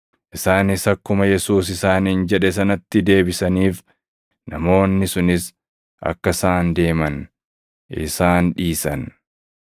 Isaanis akkuma Yesuus isaaniin jedhe sanatti deebisaniif; namoonni sunis akka isaan deeman isaan dhiisan.